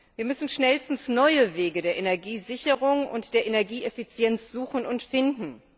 Wir müssen schnellstens neue Wege der Energiesicherung und der Energieeffizienz suchen und finden.